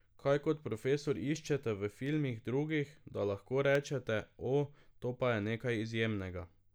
Kaj kot profesor iščete v filmih drugih, da lahko rečete, o, to pa je nekaj izjemnega?